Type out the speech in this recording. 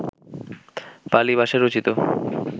পালি ভাষায় রচিত